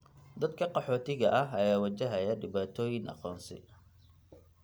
Dadka qaxootiga ah ayaa wajahaya dhibaatooyin aqoonsi.